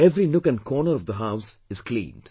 Every nook and corner of the house is cleaned